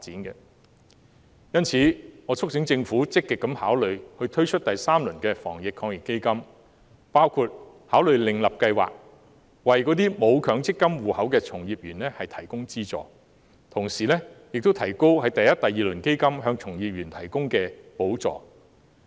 因此，我促請政府積極考慮推出第三輪防疫抗疫基金，包括考慮另設計劃，為沒有強積金戶口的從業員提供資助，同時亦應提高第一及第二輪基金給予從業員的補助。